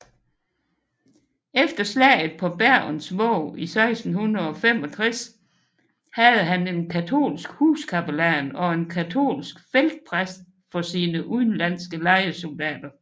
Efter slaget på Bergens Våg i 1665 havde han en katolsk huskapellan og en katolsk feltpræst for sine udenlandske lejesoldater